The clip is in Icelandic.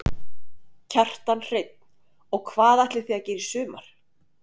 Kjartan Hreinn: Og hvað ætlið þið að gera í sumar?